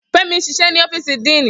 Femi n ṣiṣẹ ni ọfiisi Dean.